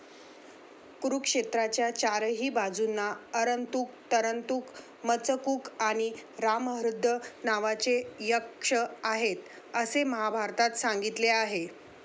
कुरुक्षेत्राच्या चारही बाजूंना अरंतूक, तरंतुक, मचकूक आणि रामहृद नावाचे यक्ष आहेत, असे महाभारतात सांगितले आहे.